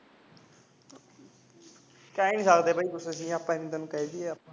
ਕਹਿ ਹੀ ਨਹੀਂ ਸਕਦੇ ਬਾਈ ਕੁਝ ਅਸੀਂ ਆਪਾ ਐਵੇਂ ਤੈਨੂੰ ਕਹਿ ਦੇਈਏ